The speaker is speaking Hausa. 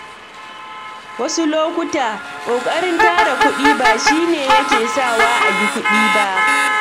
Wasu lokuta, ƙokarin tara kuɗi ba shi ne yake sawa a yi kuɗi ba.